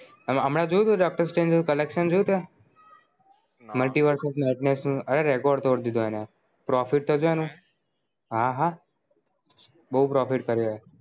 હમણાં જોયું તે Doctor Strange નું collection જોયું તે મૂલતીવર્ષ અરે record તોડ દીધો અને profit તો જો અનુ હા હા બો profit કર્યો